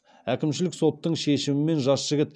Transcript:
әкімшілік соттың шешімімен жас жігіт